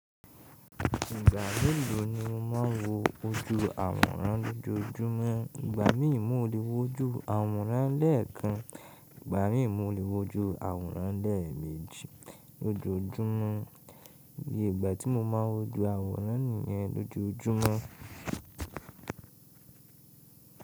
Ìgbà mélòó ni o má ń wo ojú àwòrán lójoójúmọ́? Ìgbà mí ì mo lè wo ojú àwòrán lẹ́ẹ̀kan. Ìgbà míi, mo lè wo ojú àwòrán lẹ́ẹ̀mejì lójoójúmọ́. Iye ìgbà tí mo má n wo àwòrán nìyẹn lójoójúmọ́.